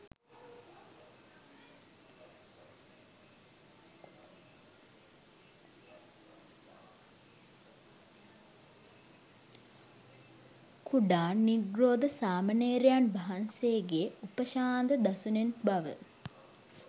කුඩා නිග්‍රොධ සාමණේරයන් වහන්සේගේ උපශාන්ත දසුනෙන් බව